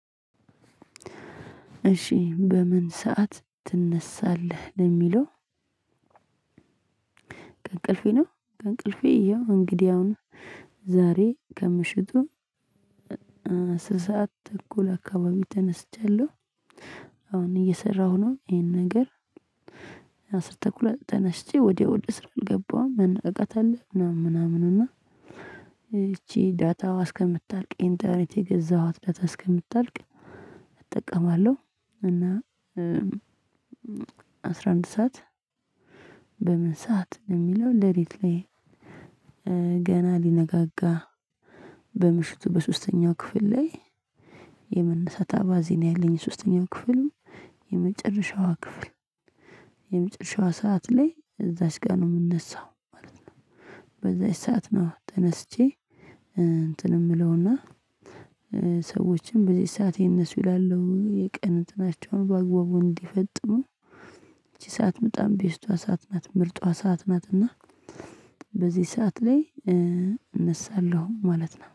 እሺ በምን ሰዓት ትነሳለህ ለሚለው? እንቅልፌ ነው ከእንቅልፌ ያው እንግዲህ አሁን ዛሬ ከምሽቱ አስር ሰዓት ተኩል አካባቢ ተነስቻለሁ። አሁን እየሰራሁ ነው ይሄን ነገር። አስር ተኩል ተነስቼ ወዲያው ወደ ስራ አልገባሁም መነቃቃት አለ ምናምን ምናምን እና ይቺ ዳታዋ እስከምታልቅ ኢንተርኔት የገዛኋት ዳታ እስከምታልቅ እጠቀማለሁ። እና አስራ አንድ ሰዓት በምን ሰዓት የሚለው ሌሊት ላይ? ገና ሊነጋጋ በምሽቱ በሶስተኛው ክፍል ላይ የመነሳት አባዜ ነው ያለኝ ሶስተኛ ክፍል የመጨረሻዋ ክፍል የመጨረሻዋ ሰዓት ላይ እዛች ጋ ነው የምነሳው ማለት ነው። በዛች ሰዓት ነው ተነስቼ እንትን የምለው እና ሰዎችም በዚህ ሰዓት ይነሱ እላለሁ የቀን እንትናቸውን በአግባቡ እንዲፈጥሙ። እቺ ሰዓት በጣም ቤስቷ ሰዓት ናት ምርጧ ሰዓት ናት። እና በዚህ ሰዓት ላይ እነሳለሁ ማለት ነው